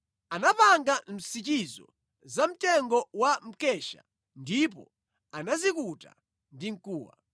Anapanga nsichi zamtengo wa mkesha ndipo anazikuta ndi mkuwa.